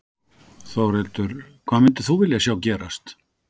Þórhildur: Hvað myndir þú vilja sjá gerast?